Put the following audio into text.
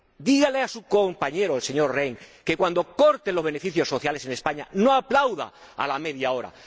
Dígale a su compañero, el señor Rehn, que, cuando recorten los beneficios sociales en España, no aplauda a la media hora.